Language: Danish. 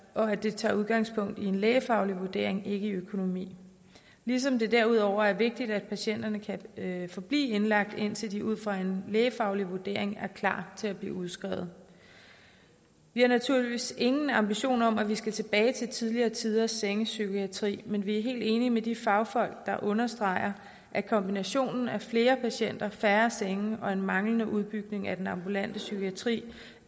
og at det tager udgangspunkt i en lægefaglig vurdering ikke økonomi ligesom det derudover er vigtigt at patienterne kan forblive indlagt indtil de ud fra en lægefaglig vurdering er klar til at blive udskrevet vi har naturligvis ingen ambitioner om at vi skal tilbage til tidligere tiders sengepsykiatri men vi er helt enige med de fagfolk der understreger at kombinationen af flere patienter færre senge og en manglende udbygning af den ambulante psykiatri